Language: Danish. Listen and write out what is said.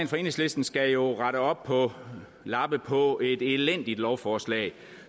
fra enhedslisten skal jo rette op på lappe på et elendigt lovforslag